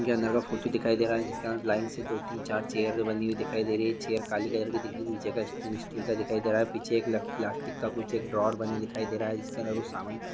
ये अंदर का फोटो दिखाई दे रहा जिसका लाइन से दो तीन चार चैर बनी हुई दिखाई दे रही है चैर काली कलर भी दिख रही है नीच का स्टैन्ड स्टील का दिखाई दे रहा है पीछे एक ल-प्लास्टिक का कूच एक ड्रोवर बना दिखाई दे रहा है जिसके अंदर कूच समान--